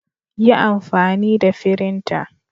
Yi amfani da firinta.